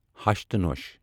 ہَش تہٕ نۄش